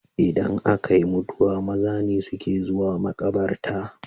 Idan akayi mutuwa maza ne suke zuwa makabarta